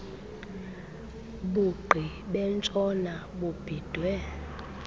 bugqi bentshona bubhidwe